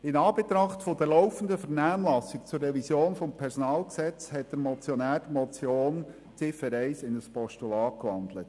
In Anbetracht der laufenden Vernehmlassung zur Revision des PG hat der Motionär die Motion betreffend Ziffer 1 in ein Postulat gewandelt.